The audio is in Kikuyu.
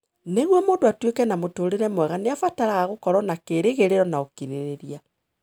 Nĩguo mũndũ atuĩke na mũtũũrĩre mwega nĩ abataraga gũkorũo na kĩĩrĩgĩrĩro na ũkirĩrĩria.